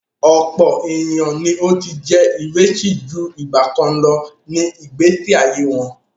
Ọ̀pọ̀ ènìyàn ni ó ti jẹ́ ìrẹsì ju ìgbàkan lọ ní ìgbésí ayé wọn.